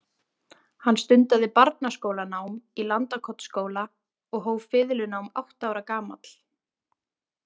Hann stundaði barnaskólanám í Landakotsskóla og hóf fiðlunám átta ára gamall.